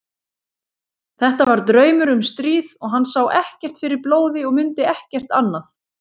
Þetta var draumur um stríð og hann sá ekkert fyrir blóði og mundi ekkert annað.